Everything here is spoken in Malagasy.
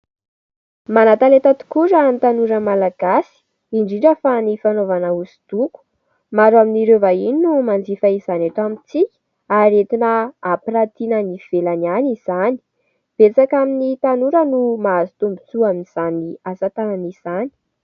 manan-taleta tokoa raha ny tanora malagasy indrindra fa ny fanaovana hosodoko ,maro amin'ireo vahiny no manjifa izany aty amintsika ary entina hampiratiana any ivelany any izany, betsaka amin'ny tanora no mahazo tombontsoa amin'izany asa tanana izany